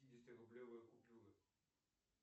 пятидесятирублевые купюры